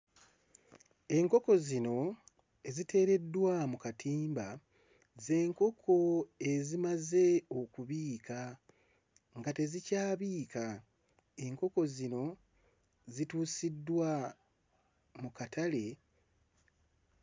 Enkoko zino eziteereddwa mu katimba z'enkoko ezimaze okubiika, nga tezikyabiika. Enkoko zino zituusiddwa mu katale....